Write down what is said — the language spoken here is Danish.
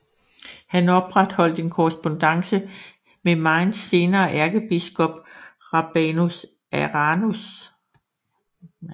Han opretholdt en korrespondance med Mainz senere ærkebiskop Rabanus Maranus